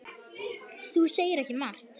Þú segir ekki margt.